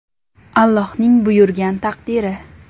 Allohning buyurgan taqdiri.